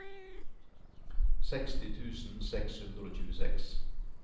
seksti tusen seks hundre og tjueseks